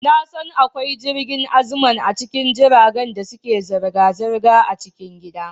Na san akwai jirgin Aziman a cikin jiragen da suke zirga-zirga a cikin gida.